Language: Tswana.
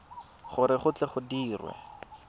gore go tle go dirwe